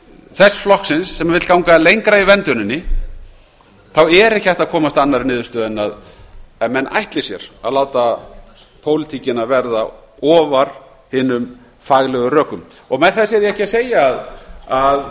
þess flokksins sem vill ganga lengra í vernduninni þá er ekki hægt að komast að annarri niðurstöðu en menn ætli sér að láta pólitíkina verða ofar hinum faglegu rökum með þessu er ég ekki að segja að það